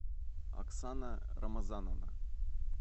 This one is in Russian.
оксана рамазановна